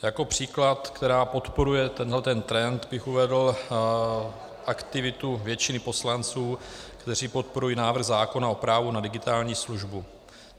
Jako příklad, který podporuje tenhle trend, bych uvedl aktivitu většiny poslanců, kteří podporují návrh zákona o právu na digitální službu.